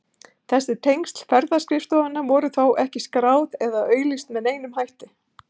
Þessi tengsl ferðaskrifstofanna voru þó ekki skráð eða auglýst með neinum hætti.